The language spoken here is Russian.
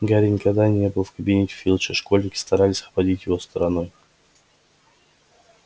гарри никогда не был в кабинете филча школьники старались обходить его стороной